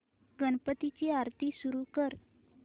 गणपती ची आरती सुरू कर